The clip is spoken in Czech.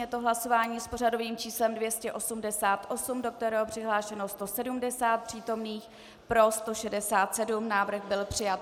Je to hlasování s pořadovým číslem 288, do kterého přihlášeno 170 přítomných, pro 167, návrh byl přijat.